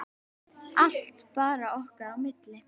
Allt bara okkar á milli.